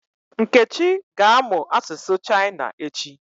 Nkechi ga-amụ asụsụ China echi.